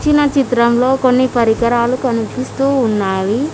పైన చిత్రం లో కొన్ని పరికరాలు కనిపిస్తూ ఉన్నాయి.